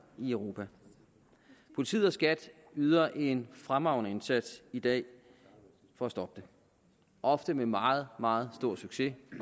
i europa politiet og skat yder en fremragende indsats i dag for at stoppe det ofte med meget meget stor succes